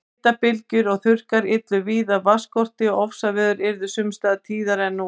Hitabylgjur og þurrkar yllu víða vatnsskorti og ofsaveður yrðu sums staðar tíðari en nú.